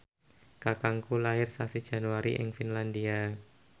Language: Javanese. kakangku lair sasi Januari ing Finlandia